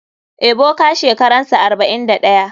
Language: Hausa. Ebuka shekaransa 41.